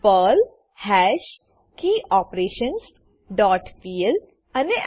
Perl hash key operations dot PL અને Enter